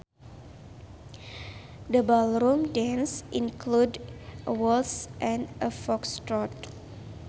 The ballroom dances included a waltz and a Foxtrot